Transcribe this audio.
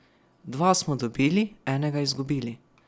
Dva smo dobili, enega izgubili.